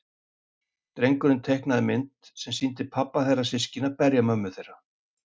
Drengurinn teiknaði mynd sem sýndi pabba þeirra systkina berja mömmu þeirra.